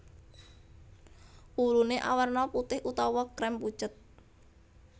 Wuluné awerna putih utawa krem pucet